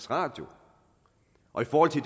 radio og fordi